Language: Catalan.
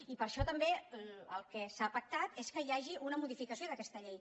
i per això també el que s’ha pactat és que hi hagi una modificació d’aquesta llei